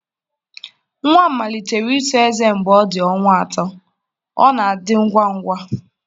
Nwa m malitere ito ezé mgbe ọ dị ọnwa atọ, ọ na-adị ngwa ngwa.